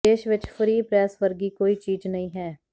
ਦੇਸ਼ ਵਿਚ free press ਵਰਗੀ ਕੋਈ ਚੀਜ਼ ਨਹੀਂ ਹੈ